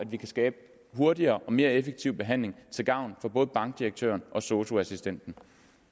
vi skabe en hurtigere og mere effektiv behandling til gavn for både bankdirektøren og sosu assistenten